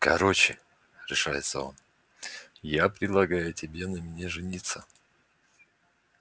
короче решается он я предлагаю тебе на мне жениться